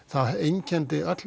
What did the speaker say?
það einkenndi öll